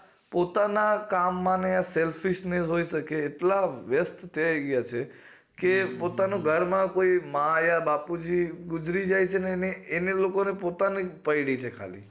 પોતાના કામ માં ને selfish ને હોય શકે ને તો કેટલા વ્યસ્ત થાય ગયા છે ને કે પોતાના ઘરે માં કોઈ માં યા બાપુજી ગુજરી જાય છે તો એ લોકો ને પોતાનીજ પયડી છે ખાલી